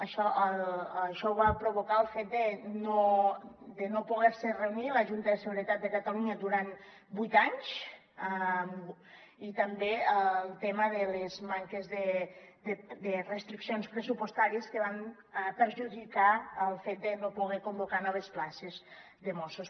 això ho va provocar el fet de no poder se reunir la junta de seguretat de catalunya durant vuit anys i també el tema de les restriccions pressupostàries que van perjudicar el fet de no poder convocar noves places de mossos